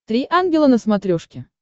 три ангела на смотрешке